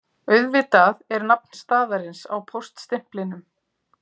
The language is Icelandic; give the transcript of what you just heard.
Auðvitað er nafn staðarins á póststimplinum